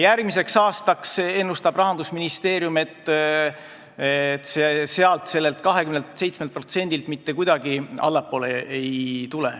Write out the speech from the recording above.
Järgmiseks aastaks ennustab Rahandusministeerium, et sellelt 27%-lt mitte kuidagi allapoole ei tulda.